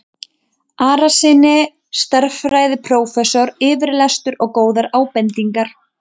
Arasyni stærðfræðiprófessor yfirlestur og góðar ábendingar.